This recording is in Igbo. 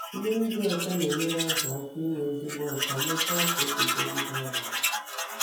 Mmiri dị ọcha na-enyere azu aka inwe ezigbo ocha mekwa ka ọgụzogịde ọria